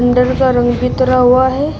अंदर का रंग भी हुआ है।